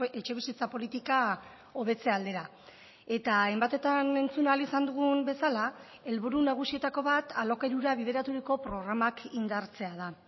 etxebizitza politika hobetze aldera eta hainbatetan entzun ahal izan dugun bezala helburu nagusietako bat alokairura bideraturiko programak indartzea da